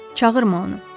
Çağırma onu.